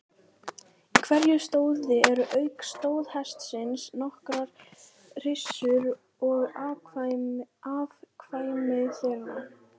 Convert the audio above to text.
Í hverju stóði eru auk stóðhestsins nokkrar hryssur og afkvæmi þeirra.